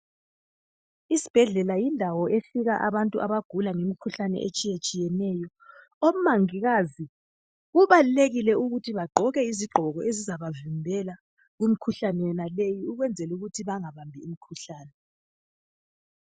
Isibhedlela yindawo efika abantu abagula ngemikhuhlane etshiyetshiyeneyo. Omongikazi kubalulekile ukuthi bagqoke izigqoko ezizabavikela kumkhuhlane yonaleyi ukwenzela ukuthi bangabambi imkhuhlane.